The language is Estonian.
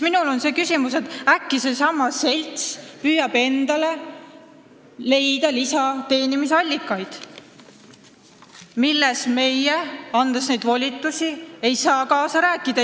Minul tekib küsimus, et äkki seesama selts püüab endale leida lisateenimise allikaid, milles meie, andes neid volitusi, ei saa kaasa rääkida.